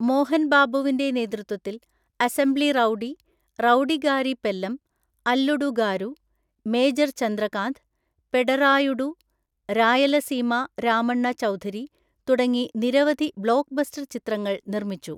മോഹൻ ബാബുവിന്റെ നേതൃത്വത്തിൽ assembly rowdy, Rowdygari Pellam, Alludu Garu, major Chandrakanth, Pedarayudu, Rayalaseema Ramanna Chowdary തുടങ്ങി നിരവധി ബ്ലോക്ക്ബസ്റ്റർ ചിത്രങ്ങൾ നിർമ്മിച്ചു.